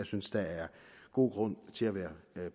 synes der er god grund til at være